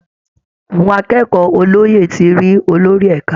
Àwọn akẹ́kọ̀ọ́ olóyè ti rí olórí ẹ̀ka